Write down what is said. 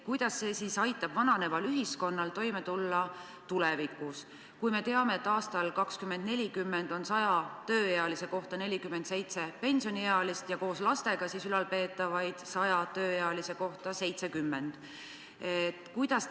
Kuidas see aitab vananeval ühiskonnal tulevikus toime tulla, kui me teame, et aastal 2040 on 100 tööealise kohta 47 pensioniealist elanikku ja koos lastega tuleb ülalpeetavaid 100 tööealise kohta 70?